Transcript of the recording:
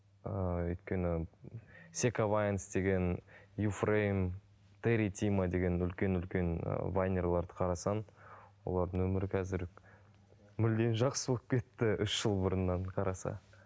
ыыы өйткені секавайнс деген юфрейм территима деген үлкен үлкен ы вайнерлерді қарасың олардың өмірі қазір мүлдем жақсы болып кетті үш жыл бұрыннан қараса